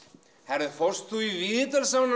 heyrðu fórst þú í